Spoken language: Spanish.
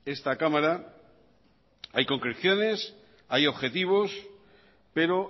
esta cámara hay concreciones hay objetivos pero